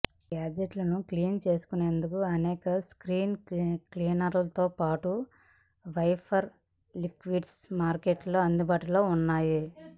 గాడ్జెట్లను clean చేసుకునేందుకు అనేక screen క్లీనర్లతో పాటు వైపర్ లిక్విడ్స్ మార్కెట్లో అందుబాటులో ఉన్నాయి